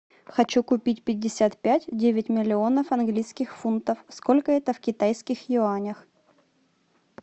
хочу купить пятьдесят пять девять миллионов английских фунтов сколько это в китайских юанях